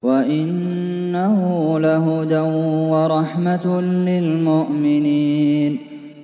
وَإِنَّهُ لَهُدًى وَرَحْمَةٌ لِّلْمُؤْمِنِينَ